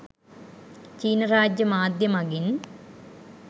චීන රාජ්‍ය මාධ්‍යය මගින්